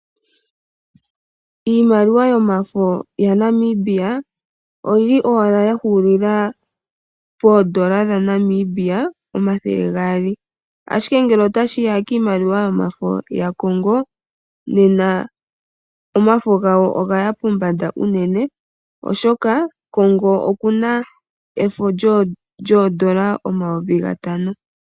Iimaliwa yomafo ya Namibia oyili owala yahulila pondola dha Namibia 200 ashike ngele ota shiya kiimaliwa yomafo ya Kongo nena omafo gawo ogaya pombanda unene oshoka Kongo okuna efo lyondola 5000.